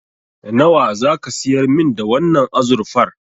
Nawa zaka siyar min da wannan azurfar?